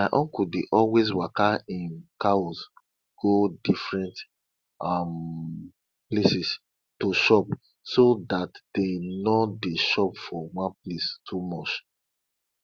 my uncle dey always waka im cows go different um places to chop so dat dem no dey chop for one place too much